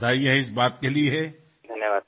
আপোনাক অশেষ অভিনন্দন ইয়াৰ বাবে